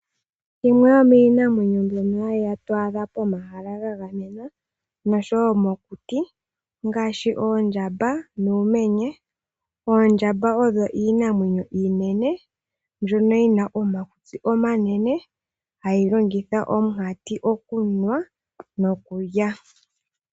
Yimwe yomiinamwenyo mbyono to adha pomahala ga gamenwa noshowo mokuti ongaashi oondjamba nuumenye. Oondjamba odho iinamwenyo iinene, mbyono yi na omakutsi omanene hayi longitha omunkati okunwa nokulya.